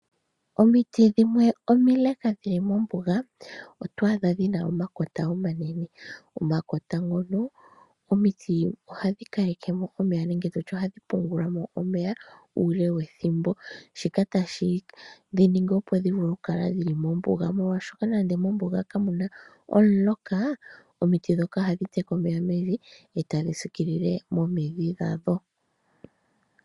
Omiti dhimwe omile dhili mombuga otwaadha dhina omakota omanene. Omakota ngono omiti ohadhi pungula mo omeya ethimbo ele. Shika ohashi dhiningi, opo dhikale mombuga nande kamuna omuloka omiti ndhika ohadhi teke omeya etadhi sikile omidhi dhago.